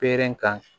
Per kan